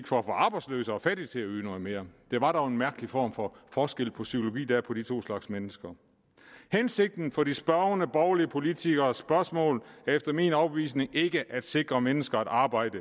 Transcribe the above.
for at få arbejdsløse og fattige til at yde noget mere det var dog en mærkelig form for forskel på psykologi der anvendes på de to slags mennesker hensigten for de spørgende borgerlige politikeres spørgsmål er efter min overbevisning ikke at sikre mennesker et arbejde